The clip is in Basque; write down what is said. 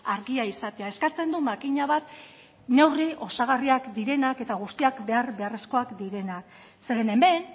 argia izatea eskatzen du makina bat neurri osagarriak direnak eta guztiak behar beharrezkoak direnak zeren hemen